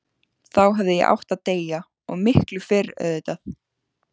Þá hefði ég átt að deyja, og miklu fyrr auðvitað.